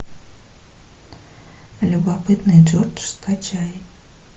любопытный джордж скачай